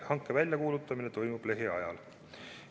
Hange kuulutatakse välja lähiajal.